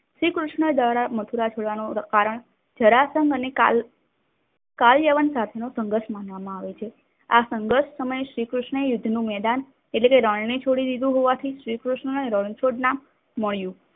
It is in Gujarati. શ્રીકૃષ્નો દ્વારા મથુરા છોડવાનું કારણ જળાશય અને કલ યવન સાથનો સંગર્થ માનવામાં આવે છે. આ સંગર્થ સમયે શ્રીકૃષ્ણ યુદ્ધનું મેદાન એટલે કે રણને છોડી દીધું હોવાથી શ્રીકૃષ્ણને રણછોડ નામ મળ્યું.